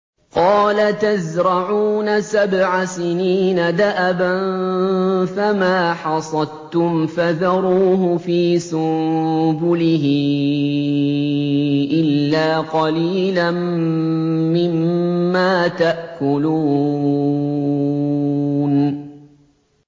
قَالَ تَزْرَعُونَ سَبْعَ سِنِينَ دَأَبًا فَمَا حَصَدتُّمْ فَذَرُوهُ فِي سُنبُلِهِ إِلَّا قَلِيلًا مِّمَّا تَأْكُلُونَ